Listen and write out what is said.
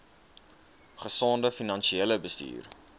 gesonde finansiële bestuur